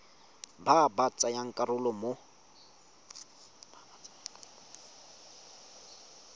ba ba tsayang karolo mo